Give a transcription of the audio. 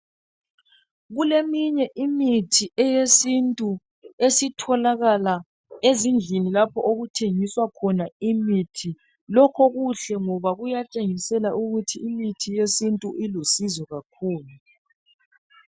Kuleminye imithi eyesintu esitholakala ezindlini lapho okuthengiswa khona imithi lokho kuhle ngoba kuyatshengisela ukuthi imithi yesintu ilusizo kakhulu.